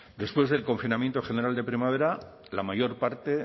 después del confinamiento general de primavera la mayor parte